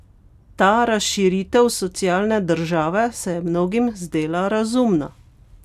Ta razširitev socialne države se je mnogim zdela razumna.